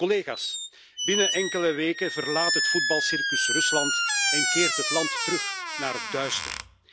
Collega's, binnen enkele weken verlaat het voetbalcircus Rusland en keert het land terug naar het duister.